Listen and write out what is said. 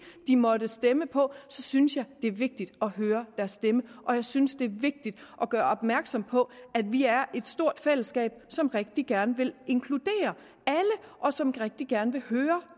de måtte stemme på så synes jeg det er vigtigt at høre deres stemme og jeg synes det er vigtigt at gøre opmærksom på at vi er et stort fællesskab som rigtig gerne vil inkludere alle og som rigtig gerne vil høre